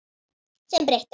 Sem breytti öllu.